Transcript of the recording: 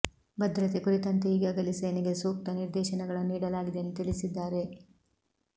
ಭದ್ರತೆ ಕುರಿತಂತೆ ಈಗಾಗಲೇ ಸೇನೆಗೆ ಸೂಕ್ತ ನಿರ್ದೇಶನಗಳನ್ನು ನೀಡಲಾಗಿದೆ ಎಂದು ತಿಳಿಸಿದ್ದಾರೆ